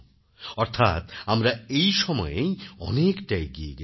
অর্থাৎ আমরা এই সময়েই অনেকটা এগিয়ে গেছি